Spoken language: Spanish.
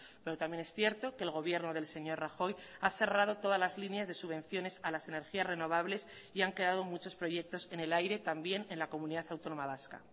pero también es cierto que el gobierno del señor rajoy ha cerrado todas las líneas de subvenciones a las energías renovables y han quedado muchos proyectos en el aire también en la comunidad autónoma vasca